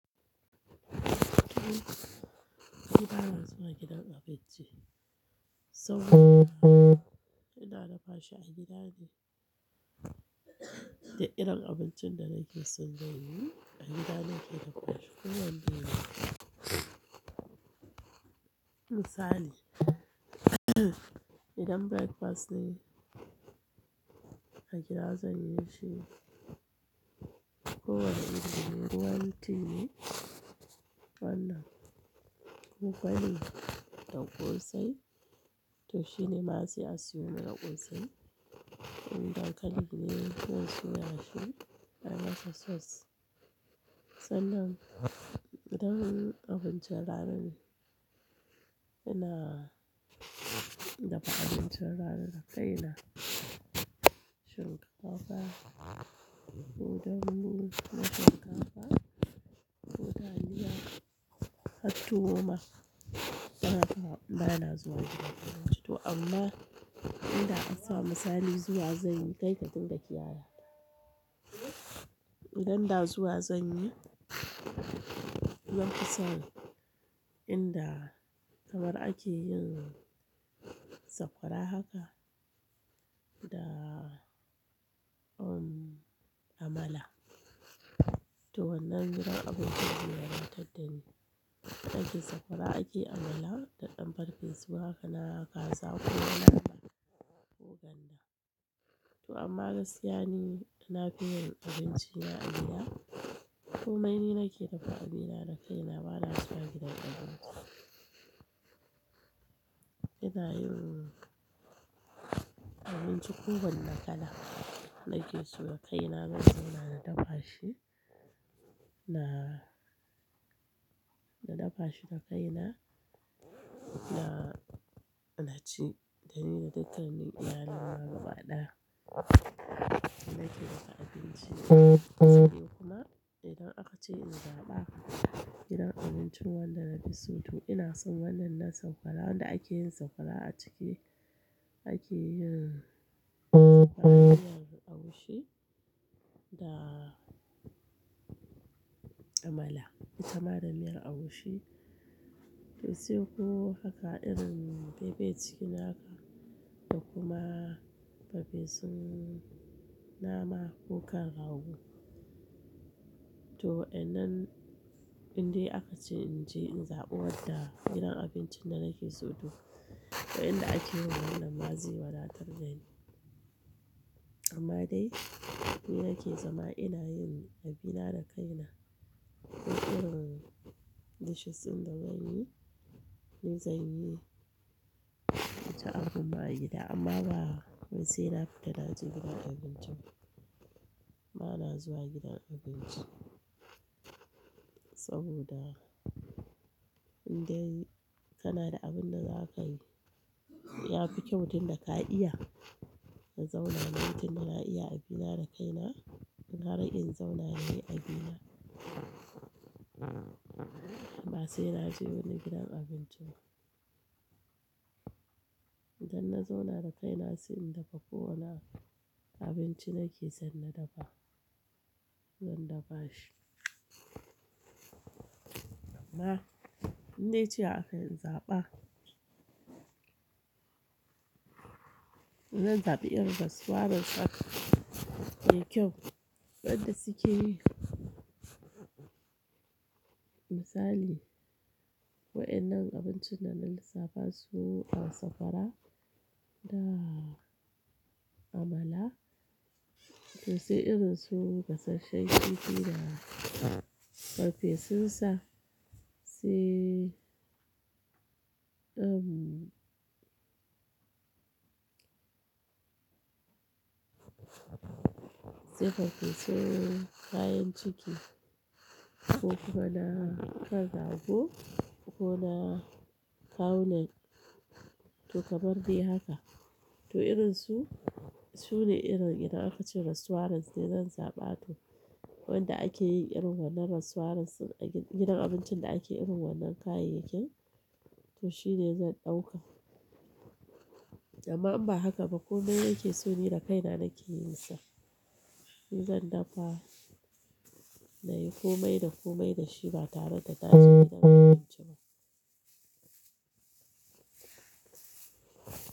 Ni ba na zuwa gidan abinci saboda ina dafa shi a gidane. Da irin abincin da nake so don yi a gida nake dafashi ko yanzu yanzu Misali idan breakfast ne a kiga zanyi shi ko wane irin, ruwan tea ne kokone da kosai to shine ma sai a siyo mana kosai. Indaankali kuma zan soyashi ayi masa sauce. Sannan idan abincin rana ina dafa abincin rana da kaina. Shirya kafa, ko dambu na shinkafa, ko taliya, hattuwoma. Tsanaka bana zuwa gidan abinci to amma inda ansa misali zuwa zanyi kaika dinga kiyata. Idan da zuwa zanyi zanfi san inda kamar ake yin sakwara haka da um Amala. To wannan gidan abinci shine rataddani. Inda ake sakwara ake Amala da ɗan farfesu haka na kaza ko yana ko ganda. To amma gaskiya ni na fi yin abinci na agida. Komai ni nake dafa abina da kaina bana zuwa gidan abinci. Ina yin abinci kowane kala nake so da kaina zanzauna na dafa shi. Na, na dafa shi da kaina na, na ci. Dani da dukkanin iyalina ma gaba ɗaya. Ina ke dafa abinci kuma idan aka ce in zaɓa gidan abincin wanda na fi so to ina son wannan nan sakwara wanda ake yin sakwara a ciki. Ake yin miyar agushi da Amala. Itamanda miyar agushi to sai ko haka irin fefe chicken haka ko kuma farfesun nama ko kan rago. To wa'ennan inde aka ce in je in zaɓi wadda gidan abinci da nake so to waɗanda ake yi wannan ma zai wadatar da ni. Amma dai ni nake zama ina yin abina da kaina. Ko irin dishes inda zan yi ni zan yi ta abu ma gida amma ba sai na fita naje gidan abinci ba. Bana zuwa gidan abinci saboda indai kana da abin da zakayi ya fi kyau tun da ka iya ka zauna. Ma'aitinda ina iya abina da kaina. Gara in zauna inyi abina. Ba sai naje wani gidan abinci ba. Idan na zauna da kaina sai in dafa ko wane abinci nake son na dafa zan dafa shi. Amma in ne ce aka yi in zaɓa, zan zaɓi irin restaurant haka mai kyau wanda suke yi misali wa'ennan abincin da lissafa su a sakwara da Amala. To sai irin su gasasshen kifi da farfesunsa sai um sai farfesu kayan ciki ko kuma na kan rago ko na kawonen. To kamar dai haka. To irin su, su ne irin idan aka ce restaurants ne zan zaɓa to waɗanda ake yi irin wannan restaurants a gidan abincin da ake irin wannan kayayyakin to shine zan ɗauka. Amma in ba haka ba komai nake so ni da kaina nake yin sa. Shi zan dafa na yi komai da komai da shi ba tare da taje gidan abinci ba.